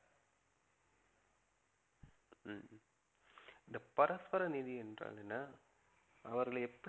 ஹம் இந்த பரஸ்பர நிதி என்றால் என்ன? அவர்களை